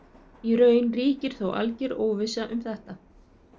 Í raun ríkir þó alger óvissa um þetta.